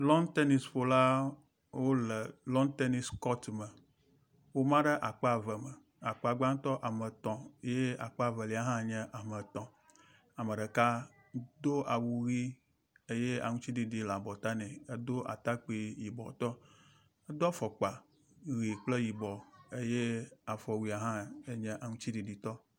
Lɔn tenisƒola wo le lɔn tenis kɔt me. Woma ɖe akpa eve me. akpa gbãtɔ ame etɔ̃ ye akpa evelia hã nye ame etɔ̃. Ame ɖeka do awu ʋi eye aŋtsiɖiɖi le abɔta nɛ. Edo atakpui yibɔ tɔ. Edo afɔkpa ʋi kple yibɔ eye aɔwuia hã eney aŋtsiɖiɖi tɔ.